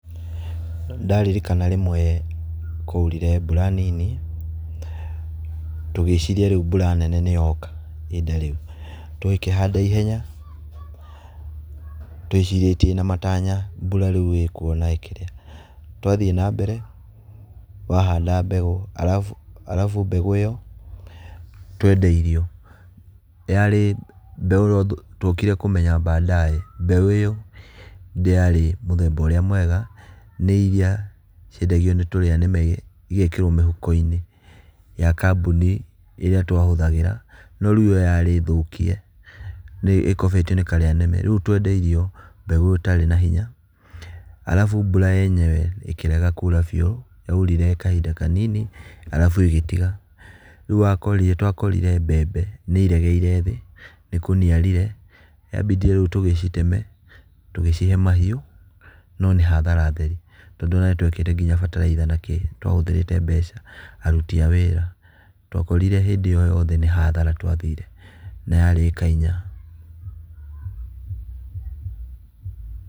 Nĩndaririkana rĩmwe kwaurire mbura nini, tũgĩciria rĩu mbura nene nĩ yoka ihinda rĩu. Tũgĩkĩhanda ihenya, twĩcirĩtie na matanya mbura rĩu ĩkuo na ĩkĩrĩa. Twathiĩ na mbere, wahanda mbegũ arabu arabu mbegũ ĩyo twendeirio yarĩ mbeũ tuokire kũmenya baadaye mbeũ ĩyo ndĩarĩ mũthemba ũrĩa mwega, nĩ iria ciendagio nĩ tũrĩa nĩme ĩgekĩrwo mĩhuko-inĩ ya kambuni ĩrĩa twahũthagĩra, no rĩu ĩyo yarĩ thũkie, nĩ ĩkobetio nĩ karĩa nĩme, rĩu twendeirio mbegũ ĩtarĩ na hinya. Arabu mbura yenyewe ĩkĩrega kura biũ, yaurire kahinda kanini arabu ĩgĩtiga. Rĩu wakorire twakorire mbembe nĩiregeire thĩ, nĩkũniarire yambindire rĩu tũgĩciteme, tũgĩcihe mahiũ no nĩ hathara theri, tondũ ona nĩtwekĩrĩte kinya bataraitha nakĩĩ, nĩtwahũthĩrĩte mbeca, aruti a wĩra, twakorire hĩndĩ ĩyo yothe nĩ hathara twathire, na yarĩ ĩka inya.